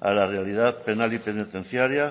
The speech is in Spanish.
a la realidad penal y penitenciaria